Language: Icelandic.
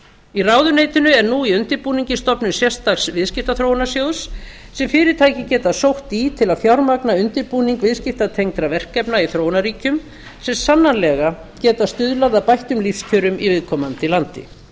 í ráðuneytinu er nú í undirbúningi stofnun sérstaks viðskiptaþróunarsjóðs sem fyrirtæki geta sótt í til að fjármagna undirbúning viðskiptatengdra verkefna í þróunarríkjum sem sannanlega geta stuðlað að bættum lífskjörum í viðkomandi landi